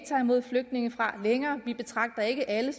tager imod flygtninge vi betragter ikke alle